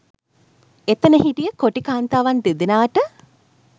එතන හිටිය කොටි කාන්තාවන් දෙදෙනාට